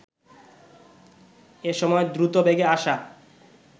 এসময় দ্রুত বেগে আসা